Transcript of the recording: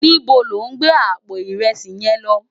Nibó lò n gbé àpó irèsí yén lò?